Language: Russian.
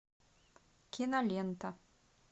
кинолента